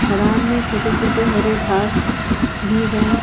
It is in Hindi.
मैदान में छोटे-छोटे हरे घास भी है ।